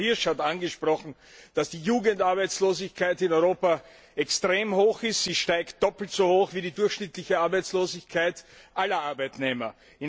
Auch Frau Hirsch hat angesprochen, dass die Jugendarbeitslosigkeit in Europa extrem hoch ist, sie steigt doppelt so schnell wie die durchschnittliche Arbeitslosigkeit aller Arbeitnehmer.